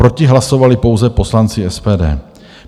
Proti hlasovali pouze poslanci SPD.